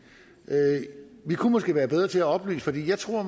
vi kunne måske være bedre til at oplyse for jeg tror